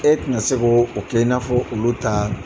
E tun ka se k'o kɛ i n'afɔ olu ta